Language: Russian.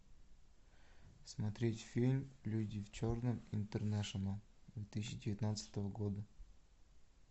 смотреть фильм люди в черном интернэшнл две тысячи девятнадцатого года